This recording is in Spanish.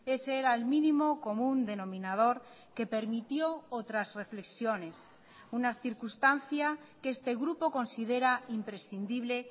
ese era el mínimo común denominador que permitió otras reflexiones una circunstancia que este grupo considera imprescindible